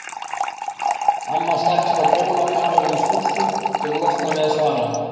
Amma stakk sér á bólakaf ofan í skúffu til að losna við að svara.